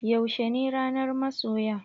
Yaushe ne ranar masoya?